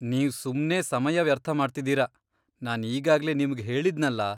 ನೀವ್ ಸುಮ್ನೇ ಸಮಯ ವ್ಯರ್ಥ ಮಾಡ್ತಿದೀರ, ನಾನ್ ಈಗಾಗ್ಲೇ ನಿಮ್ಗ್ ಹೇಳಿದ್ನಲ.